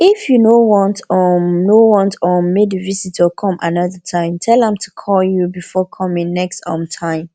if you no want um no want um make di visitor come another time tell am to call you before coming next um time